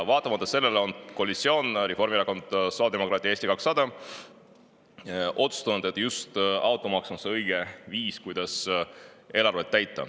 Vaatamata sellele on koalitsioon – Reformierakond, sotsiaaldemokraadid ja Eesti 200 – otsustanud, et just automaks on õige viis, kuidas eelarvet täita.